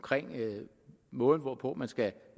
måden hvorpå man skal